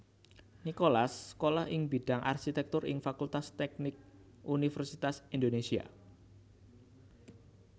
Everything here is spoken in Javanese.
Nicholas sekolah ing bidang Arsitektur ing Fakultas Teknik Universitas Indonésia